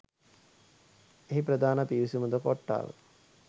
එහි ප්‍රධාන පිවිසුමද කොට්‌ටාව